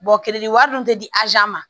wari dun te di ma